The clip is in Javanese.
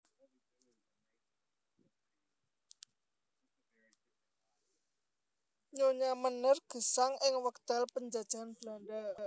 Nyonya Meneer gesang ing wekdal panjajahan Belanda